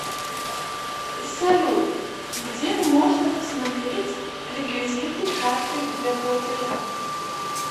салют где можно посмотреть реквизиты карты для платежа